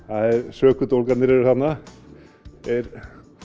sökudólgarnir eru þarna þeir